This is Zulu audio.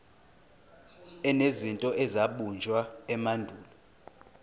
enezinto ezabunjwa emandulo